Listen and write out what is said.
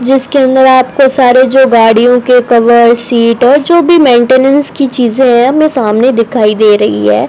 जिसके अंदर आपको सारे जो गाड़ियों के कवर सीट और जो भी मेंटेनेंस की चीजे है हमे सामने दिखाई दे रही है।